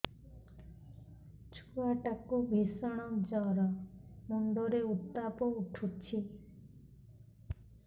ଛୁଆ ଟା କୁ ଭିଷଣ ଜର ମୁଣ୍ଡ ରେ ଉତ୍ତାପ ଉଠୁଛି